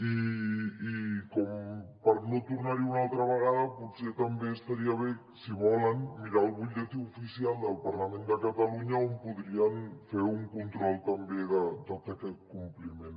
i per no tornar hi una altra vegada potser també estaria bé si volen mirar el butlletí oficial del parlament de catalunya on podrien fer un control també de tot aquest compliment